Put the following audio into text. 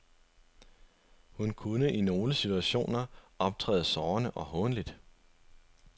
Hun kunne i nogle situationer optræde sårende og hånligt.